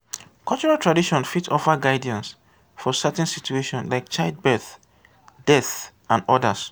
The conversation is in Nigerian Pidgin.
cultural traditon fit offer guidance for certain situations like child birth death and odas